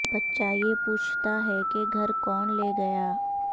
بچہ یہ پوچھتا ہے کہ گھر کون لے گیا